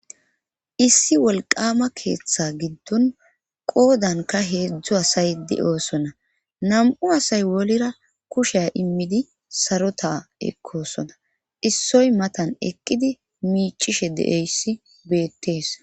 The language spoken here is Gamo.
Issi wolqama keeththe giddon qoodanka heedzdzu asaydi oosona nam7u asay wolera kushea immidi sarota ekkosona issoy matan ekkidi miichishe deeyssi beettees.